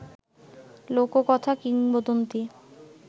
লোককথা, কিংবদন্তি